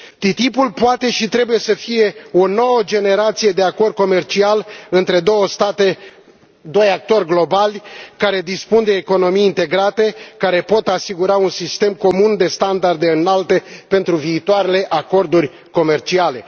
TTIP poate și trebuie să fie o nouă generație de acord comercial între două state, doi actori globali care dispun de economii integrate care pot asigura un sistem comun de standarde înalte pentru viitoarele acorduri comerciale.